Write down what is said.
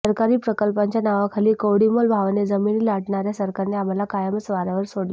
सरकारी प्रकल्पांच्या नावाखाली कवडीमोल भावाने जमिनी लाटणाऱया सरकारने आम्हाला कायमच वाऱयावर सोडले